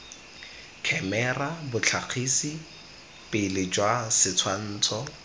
khemera botlhagisi pele jwa setshwantsho